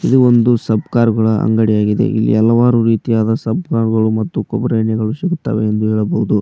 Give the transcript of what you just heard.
ಇದು ಒಂದು ಸಬ್ಕರ್ ಗಳ ಅಂಗಡಿಯಾಗಿದೆ ಇಲ್ಲಿ ಹಲವಾರು ರೀತಿಯಾದ ಸಬ್ಕರ್ ಗಳು ಹಾಗು ಕೊಬ್ಬರಿ ಎಣ್ಣೆಗಳು ಸಿಗುತ್ತವೆ ಎಂದು ಹೇಳಬಹುದು.